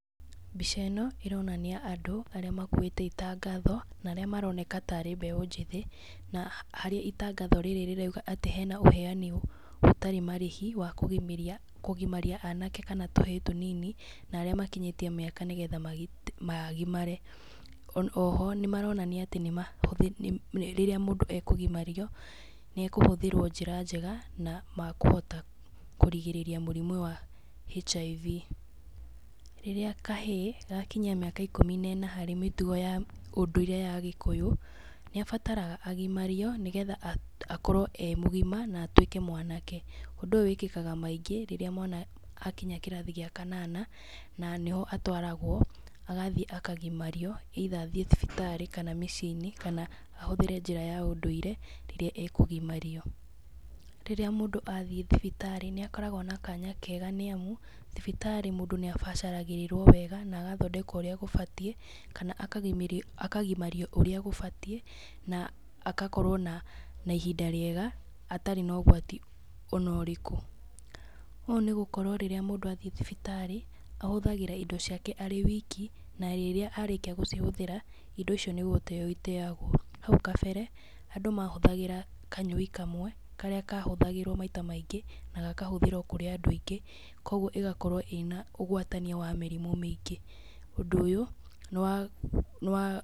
Mbica ĩno, ĩronania andũ arĩa makuĩte itangatho, na arĩa amroneka tarĩ mbeũ njĩthĩ, na harĩa itangatho rĩrĩ rĩrauga atĩ hena ũheani ũtarĩ marĩhi wa kũgimaria kũgimaria anake kana tũhĩĩ tũnini, na arĩa makinyĩtie mĩaka nĩgetha magimare, oho nĩ maronania atĩ nĩmahũthĩtie rĩrĩa mũndũ ekũgimario nĩ akũhũthĩrwo njĩra njega na makũhota kũrigĩrĩria mũrimũ HIV. Rĩrĩa kahĩĩ gakinyia mĩaka ikũmi na ĩna harĩ mĩtugo ya ũndũire ya gĩkũyũ, nĩabataraga agimario nĩgetha akorwo e mũgima na atuĩke mwanake. Ũndũ ũyũ wĩkĩkaga maingĩ rĩrĩa mwana akinya kĩrathi gĩa kanana, na nĩho atwaragwo agathiĩ akagimario, either athiĩ thibitarĩ kana mĩciĩ-inĩ kana ahũthĩre njĩra ya ũndũire rĩrĩa ekũgimario. Rĩrĩa mũndũ athiĩ thibitarĩ, nĩ akoragwo na kanya kega nĩ amu, thibitarĩ mũndũ nĩabacagĩrĩrwo wega na agathondekwo ũrĩa gũbatie kana akagimario akagimario ũrĩa gũbatie, na agakorwo na na ihinda rĩega atarĩ na ũgwati ona ũrĩkũ, ũũ nĩ gũkorwo rĩrĩa mũndũ athiĩ thibitarĩ, ahũthagĩra indo ciake arĩ wiki, na rĩrĩa arĩkia gũcihũthĩra, indo icio nĩ gũteo iteagwo. Hau kabere, andũ mahũthagĩra kanyoi kamwe, karĩa kahũthagĩrwo maita maingĩ, na gakahũthĩrwo kũrĩ andũ aingĩ, koguo ĩgakorwo ĩna ũgwatania wa mĩrimũ mĩingĩ, ũndũ ũyũ, nĩ wa nĩ wa.